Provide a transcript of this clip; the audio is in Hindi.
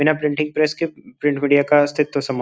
बिना प्रिंटिंग प्रेस के प्रिंट मीडिया का अस्तितव समाप्त --